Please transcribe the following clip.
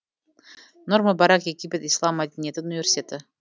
нұр мүбарак египет ислам мәдениеті университеті